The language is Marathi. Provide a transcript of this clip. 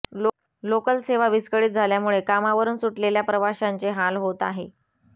लोकल सेवा विस्कळीत झाल्यामुळे कामावरुन सुटलेल्या प्रवाशांचे हाल होत आहे